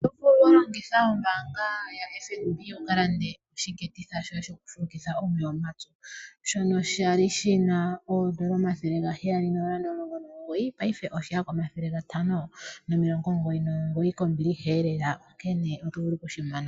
Oto vulu wa longitha ombaanga ya FNB wu ka lande oshiketitha shoye shoku fulukitha omeya omapyu. Shono sha li shina oondola omathele gaheyali nooondola omilongo omugoyi, paife oshe ya komathele gatano nomilongo omugoyi nomugoyi, kombiliha elela na nkene oto vulu oku shi mona.